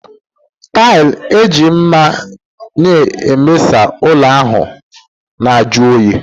Tailị e ji maa n'ebeasamaahụ ụlọ ahụ na-ajụ oyi